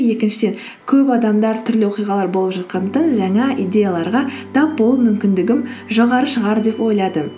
екіншіден көп адамдар түрлі оқиғалар болып жатқандықтан жаңа идеяларға тап болу мүмкіндігім жоғары шығар деп ойладым